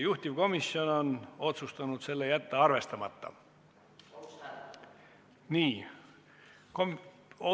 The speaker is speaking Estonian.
Juhtivkomisjon on otsustanud selle arvestamata jätta.